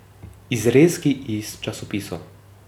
Izrezki iz časopisov.